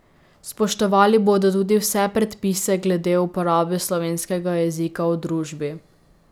Spoštovali bodo tudi vse predpise glede uporabe slovenskega jezika v družbi.